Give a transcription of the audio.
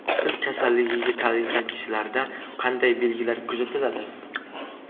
Sil kasalligiga chalingan kishilarda qanday belgilar kuzatiladi?